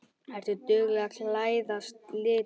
Ertu dugleg að klæðast litum?